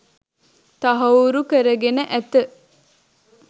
තහවුරු කරගෙන ඇත